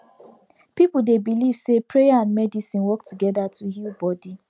people dey believe say prayer and medicine work together to heal body